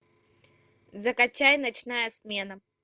закачай ночная смена